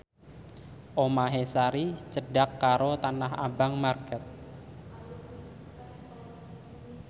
omahe Sari cedhak karo Tanah Abang market